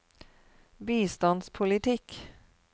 bistandspolitikk